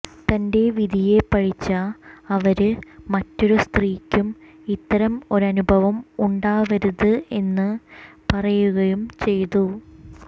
തന്റെ വിധിയെ പഴിച്ച അവര് മറ്റൊരു സ്ത്രീക്കും ഇത്തരം ഒരനുഭവം ഉണ്ടാവരുത് എന്ന് പറയുകയും ചെയ്തു